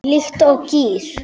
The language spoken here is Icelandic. Líkt og gír